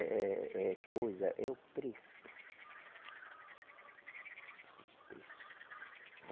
É, é coisa, é o preço. O preço.